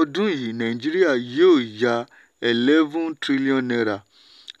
ọdún yìí nàìjíríà yóò yá eleven trillion naira